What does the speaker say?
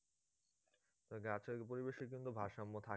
পরিবেশ কিন্তু ভারসাম্য